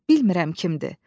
Bilmirəm kimdir.